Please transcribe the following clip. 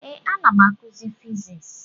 Ee, m na-akụzi Fiziks.